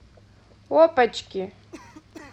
опочки